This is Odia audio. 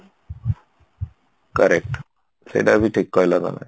correct ସେଇଟା ଵି ଠିକ କହିଲ ତମେ